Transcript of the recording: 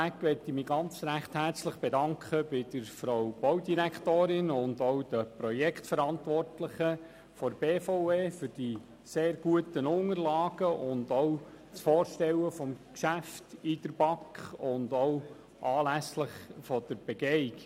Vorab bedanke ich mich ganz herzlich bei Frau Baudirektorin Egger sowie den Projektverantwortlichen der BVE für die sehr guten Unterlagen und für das Vorstellen dieses Geschäfts in der BaK sowie anlässlich der Begehung.